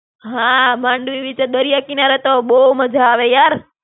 હાં, માંડવી બીચે દરિયા કિનારે તો બહું મજા આવે યાર.